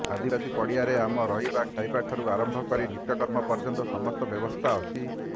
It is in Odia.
ଆଦିବାସୀ ପଡ଼ିଆରେ ଆମ ରହିବା ଖାଇବାଠାରୁ ଆରମ୍ଭ କରି ନିତ୍ୟକର୍ମ ପର୍ଯ୍ୟନ୍ତ ସମସ୍ତ ବ୍ୟବସ୍ଥା ଅଛି